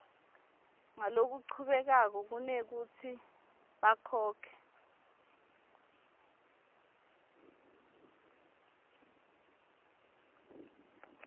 ngalokuchubekako kunekutsi bakhokhe